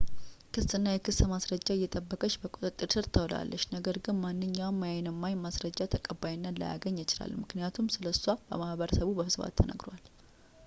ክስ እና የክስ ማስረጃ እየጠበቀች በቁጥጥር ስር ውላለች ነገር ግን ማንኛውም የአይን እማኝ ማስረጃ ተቀባይነት ላያገኝ ይችላል ምክንያቱም ስለእሷ በማህበረሰቡ በስፋት ተነግሯል